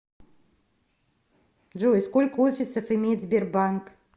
джой сколько офисов имеет сбербанк